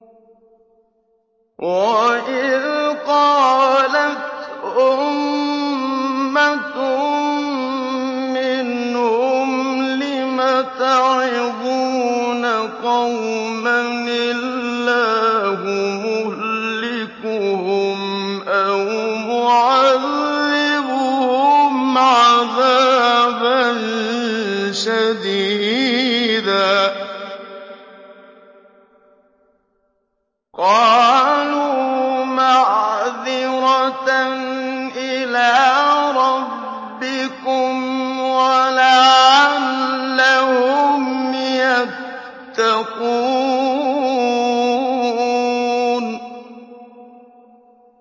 وَإِذْ قَالَتْ أُمَّةٌ مِّنْهُمْ لِمَ تَعِظُونَ قَوْمًا ۙ اللَّهُ مُهْلِكُهُمْ أَوْ مُعَذِّبُهُمْ عَذَابًا شَدِيدًا ۖ قَالُوا مَعْذِرَةً إِلَىٰ رَبِّكُمْ وَلَعَلَّهُمْ يَتَّقُونَ